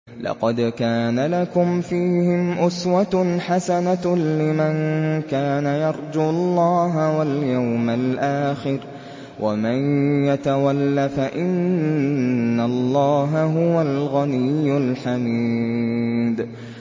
لَقَدْ كَانَ لَكُمْ فِيهِمْ أُسْوَةٌ حَسَنَةٌ لِّمَن كَانَ يَرْجُو اللَّهَ وَالْيَوْمَ الْآخِرَ ۚ وَمَن يَتَوَلَّ فَإِنَّ اللَّهَ هُوَ الْغَنِيُّ الْحَمِيدُ